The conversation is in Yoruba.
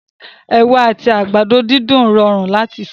Ewa àti àgbàdo dídùn rọrùn láti sè